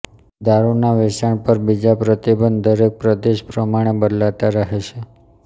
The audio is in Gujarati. દારૂના વેચાણ પર બીજા પ્રતિબંધ દરેક પ્રદેશ પ્રમાણે બદલાતા રહે છે